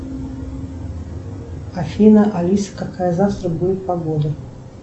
афина алиса какая завтра будет погода